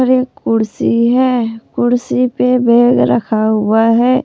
एक कुर्सी है कुर्सी पे बेग रखा हुआ है।